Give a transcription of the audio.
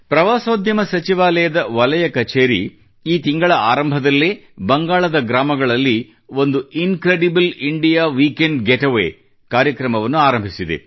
ಪ್ರವಾಸೋದ್ಯಮ ಸಚಿವಾಲಯದ ವಲಯ ಕಚೇರಿಯು ಈ ತಿಂಗಳ ಆರಂಭದಲ್ಲೇ ಬಂಗಾಳದ ಗ್ರಾಮಗಳಲ್ಲಿ ಒಂದು incredible India weekend GATEWAYʼ ಕಾರ್ಯಕ್ರಮವನ್ನು ಆರಂಭಿಸಿದೆ